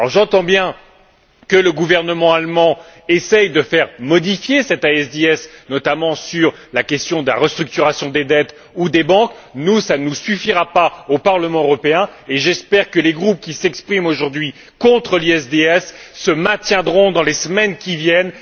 J'entends bien que le gouvernement allemand essaie de faire modifier cet ISDS, notamment sur la question de la restructuration des dettes ou des banques. Nous, cela ne nous suffira pas au Parlement européen et j'espère que les groupes qui s'expriment aujourd'hui contre l'ISDS se maintiendront dans les semaines qui viennent.